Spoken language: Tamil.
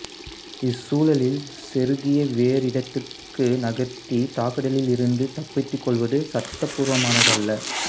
இச்சூழலில் செருகியை வேறு இடத்திற்கு நகர்த்தி தாக்குதலில் இருந்து தப்பித்துக் கொள்வது சட்டப்பூர்வமானதல்ல